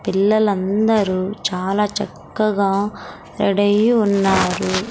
పిల్లలందరూ చాలా చక్కగా రెడయ్యి ఉన్నారు.